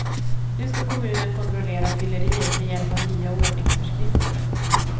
Nu ska kommunen kontrollera fylleriet med hjälp av nya ordningsföreskrifter.